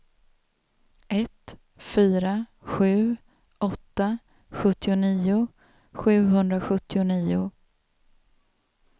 ett fyra sju åtta sjuttionio sjuhundrasjuttionio